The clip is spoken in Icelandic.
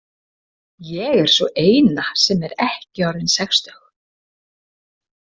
Ég er sú eina sem er ekki orðin sextug.